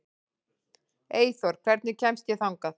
Eyþóra, hvernig kemst ég þangað?